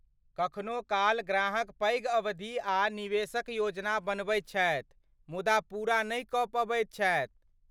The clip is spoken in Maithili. कखनो काल ग्राहक पैघ अवधि आ निवेशक योजना बनबैत छथि मुदा पूरा नहि कऽ पबैत छथि।